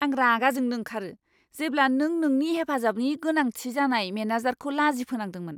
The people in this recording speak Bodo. आं रागा जोंनो ओंखारो जेब्ला नों नोंनि हेफाजाबनि गोनांथि जानाय मेनेजारखौ लाजि फोनांदोंमोन!